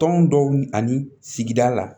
Tɔn dɔw ani sigida la